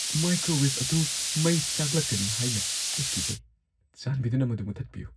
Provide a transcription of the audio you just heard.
Microwave ꯑꯗꯨ ꯃꯩ ꯆꯥꯛꯂꯛꯀꯅꯤ ꯍꯥꯏꯅ ꯑꯩ ꯀꯤꯖꯩ꯫ ꯆꯥꯟꯕꯤꯗꯨꯅ ꯃꯗꯨ ꯃꯨꯊꯠꯄꯤꯌꯨ꯫